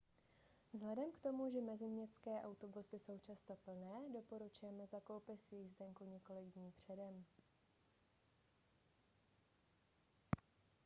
vzhledem k tomu že meziměstské autobusy jsou často plné doporučujeme zakoupit jízdenku několik dní předem